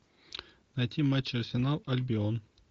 найти матч арсенал альбион